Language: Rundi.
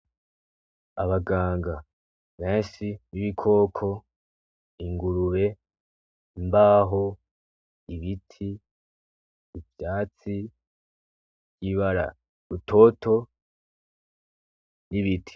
Abaganga beshi b'ibikoko ingurube imbaho ibiti ubwatsi bw'ibara butoto n'ibiti.